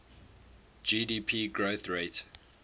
gdp growth rate